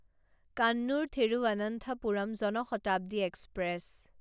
Kannur Thiruvananthapuram Jan Shatabdi express